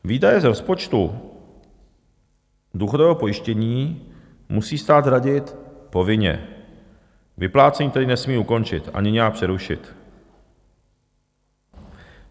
Výdaje z rozpočtu důchodového pojištění musí stát hradit povinně, vyplácení tedy nesmí ukončit ani nějak přerušit.